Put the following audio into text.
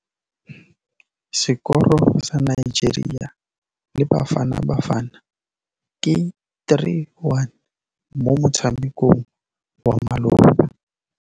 Sekôrô sa Nigeria le Bafanabafana ke 3-1 mo motshamekong wa malôba.